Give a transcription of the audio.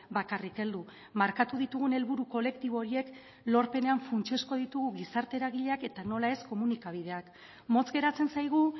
bakarrik heldu markatu ditugun helburu kolektibo horiek lorpenean funtsezkoak ditugu gizarte eragileak eta nola ez komunikabideak motz geratzen zaigu